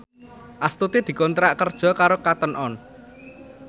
Astuti dikontrak kerja karo Cotton On